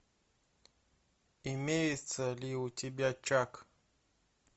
имеется ли у тебя чак